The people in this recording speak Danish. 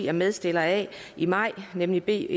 er medstiller af i maj nemlig b